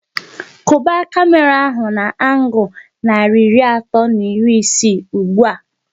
Kwuba kamera ahu na angul narị iri atọ na iri isii ụgbụa!